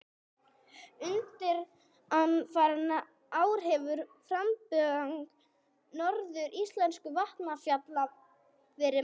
Undanfarin ár hefur framburðarmagn nokkurra íslenskra vatnsfalla verið mælt.